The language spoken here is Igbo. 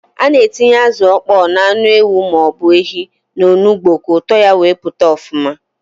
A na-etinye azụ ọkpọ na anụ ewu ma ọ bụ ehi n'onugbu ka ụtọ ya wee pụta ọfụma.